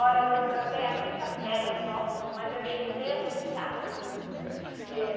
Olha, eu tenho eu tenho a quinta série só, mas eu estudei assim, sabe?